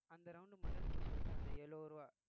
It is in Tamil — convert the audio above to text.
அந்த round model இப்ப சொல்லிட்டேன் அந்த எழுபது ரூவா